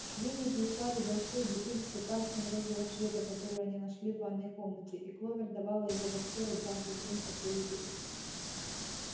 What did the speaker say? свиньи прислали большую бутыль с лекарством розового цвета которую они нашли в ванной комнате и кловер давала его боксёру дважды в день после еды